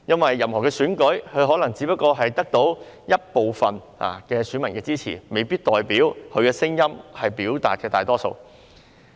在任何選舉中，一位立法會議員可能只得到一部分選民的支持，未必表示他所表達的聲音屬於大多數。